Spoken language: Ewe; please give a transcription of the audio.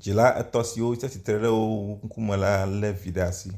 Dzila etɔ̃ siwo tsi atsitre ɖe wo ŋkume la lé evi ɖe asi.